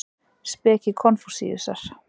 Speki Konfúsíusar.